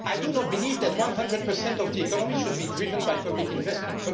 I do not believe that 100 of the economy should be driven by public investment.